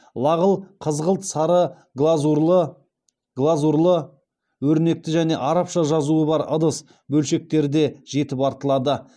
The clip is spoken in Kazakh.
лағыл қызғылт сары глазурлы өрнекті және арабша жазуы бар ыдыс бөлшектері де жетіп артылады